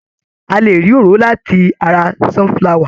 A lè rí òróró láti ara sunflower.